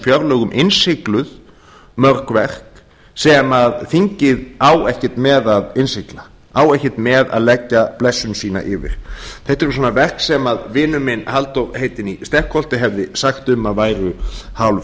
fjárlögum innsigluð mörg verk sem þingið á ekkert með að innsigla á ekkert með að leggja blessun sína yfir þetta eru svona verk sem vinur minn halldór heitinn í stekkholti hefði sagt um að væru hálf